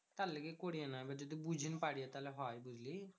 তার লাগে করিনা এবার যদি বুঝাইন পারিস থালে হয় বুঝলি?